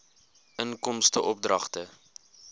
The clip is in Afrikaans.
inkomste oordragte